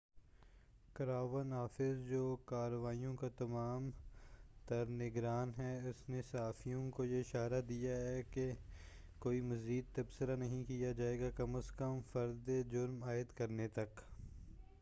crown office جو کاروائیوں کا تمام تر نگران ہے اُس نے صحافیوں کو یہ اشارہ دیا ہے کہ کوئی مزید تبصرہ نہیں کیا جائے گا کم از کم فردِ جُرم عائد کرنے تک